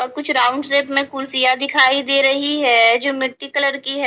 और कुछ round shape में कुर्सियां दिखाई दे रही है जो मिटटी कलर की है ।